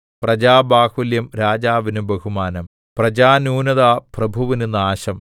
പ്രജാബാഹുല്യം രാജാവിന് ബഹുമാനം പ്രജാന്യൂനത പ്രഭുവിന് നാശം